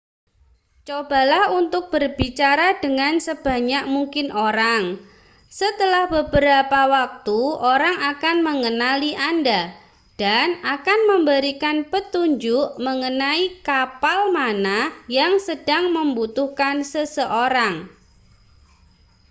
cobalah untuk berbicara dengan sebanyak mungkin orang setelah beberapa waktu orang akan mengenali anda dan akan memberikan petunjuk mengenai kapal mana yang sedang membutuhkan seseorang